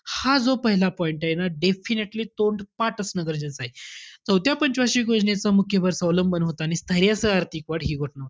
हा जो पहिला point आहे ना definitely तोंडपाठ असणं गरजेचं आहे. चौथ्या पंच वार्षिक योजनेचा मुख्य भर स्वावलंबन होता आणि स्थैर्यासह आर्थिक वाढ हि